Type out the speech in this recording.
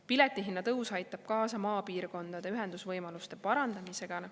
Piletihinna tõus aitab kaasa maapiirkondade ühendusvõimaluste parandamisele.